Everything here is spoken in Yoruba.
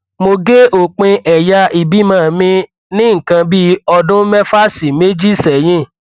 mo gé òpin ẹyà ìbímọ mi ní nǹkan bí ọdún mẹfà sí méje sẹyìn